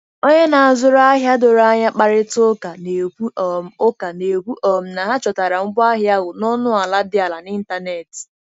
Onye na-azụrụ ahịa doro anya kparịta ụka, na-ekwu um ụka, na-ekwu um na ha chọtara ngwaahịa ahụ na ọnụ ala dị ala n'ịntanetị.